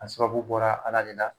A sababu bɔra Ala de la